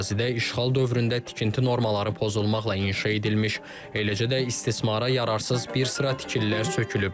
Ərazidə işğal dövründə tikinti normaları pozulmaqla inşa edilmiş, eləcə də istismara yararsız bir sıra tikililər sökülüb.